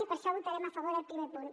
i per això votarem a favor del primer punt